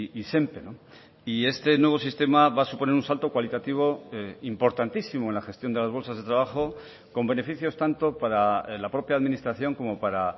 izenpe y este nuevo sistema va a suponer un salto cualitativo importantísimo en la gestión de las bolsas de trabajo con beneficios tanto para la propia administración como para